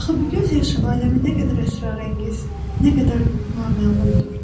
Axı bu göz yaşı aləmi nə qədər əsrarəngiz, nə qədər naməlumdur?